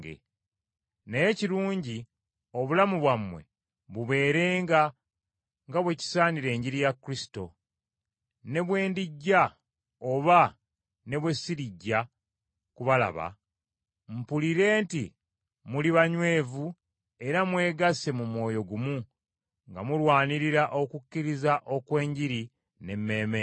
Naye kirungi obulamu bwammwe bubeerenga nga bwe kisaanira Enjiri ya Kristo; ne bwe ndijja oba ne bwe sirijja kubalaba, mpulire nti muli banywevu era mwegasse mu mwoyo gumu, nga mulwanirira okukkiriza okw’enjiri n’emmeeme emu.